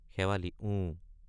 শেৱালি—ওঁ।